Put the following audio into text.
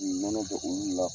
nɔnɔ bɛ olu la.